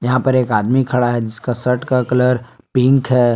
यहां पे एक आदमी खड़ा है जिसका शर्ट का कलर पिंक है।